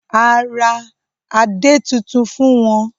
A ra adè tuntun fún wọn.